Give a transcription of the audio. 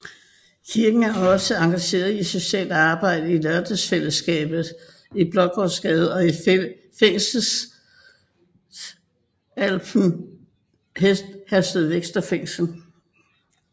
Kirken er også engageret i socialt arbejde i Lørdagsfællesskabet i Blågårdsgade og i Fængselsalpha i Herstedvester Fængsel